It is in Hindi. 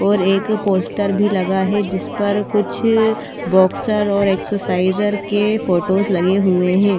और एक पोस्टर भी लगा है जिस पर कुछ बॉक्सर और एक्सरसाइजर के फोटोज़ लगे हुए हैं।